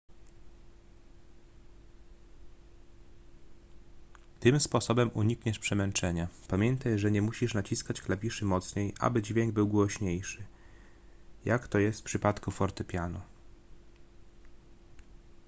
tym sposobem unikniesz przemęczenia pamiętaj że nie musisz naciskać klawiszy mocniej aby dźwięk był głośniejszy jak to jest w przypadku fortepianu